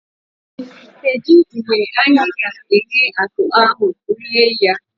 Kedụ mgbe anyị ga-eghe akụ ahụ eri?